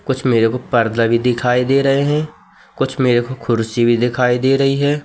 कुछ मेरे को पर्दा भी दिखाई दे रहे हैं कुछ मेरे को कुर्सी भी दिखाई दे रही हैं।